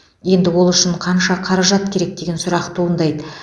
енді ол үшін қанша қаражат керек деген сұрақ туындайды